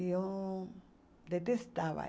Eu o detestava.